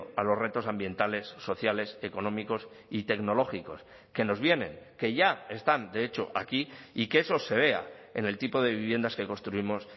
a los retos ambientales sociales económicos y tecnológicos que nos vienen que ya están de hecho aquí y que eso se vea en el tipo de viviendas que construimos